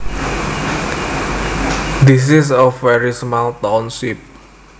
This is a very small township